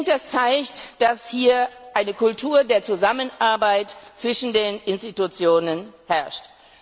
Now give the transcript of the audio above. Das zeigt wohl, dass hier eine Kultur der Zusammenarbeit zwischen den Institutionen herrscht.